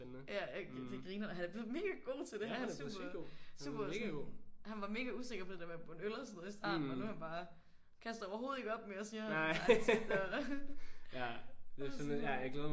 Ja det er grineren. Han er blevet mega god til det. Han var super super sådan han var mega usikker på det der med at bunde øl og sådan noget i starten og nu er han bare kaster overhovedet ikke op mere siger han ikke tit og sådan noget